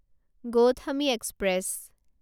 Gautami express